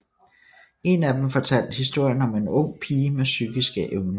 En af dem fortalte historien om en ung pige med psykiske evner